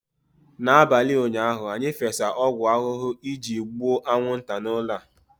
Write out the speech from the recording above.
n'abalị ụnyaahụ, anyị fesa ọgwụ ahụhụ iji gbuo anwụnta n'ụlọ a